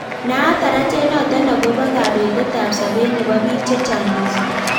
Naat tarajet notok akobo kabetet ab sabet nebo bik chechang missing.